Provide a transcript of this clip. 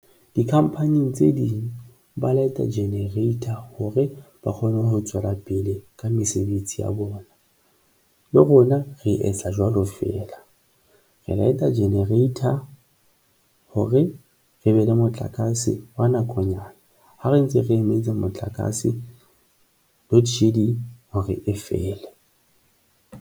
Di-company tse ding ba light-a generator hore ba kgone ho tswela pele ka mesebetsi ya bona. Le rona re etsa jwalo feela. Re light-a generator hore re be le motlakase wa nakonyana ha re ntse re emetse motlakase loadshedding hore e fele.